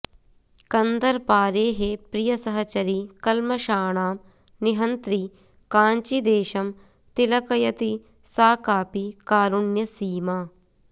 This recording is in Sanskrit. कन्दर्पारेः प्रियसहचरी कल्मषाणां निहन्त्री काञ्चीदेशं तिलकयति सा कापि कारुण्यसीमा